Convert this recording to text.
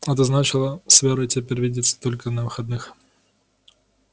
это значило с верой теперь видеться только на выходных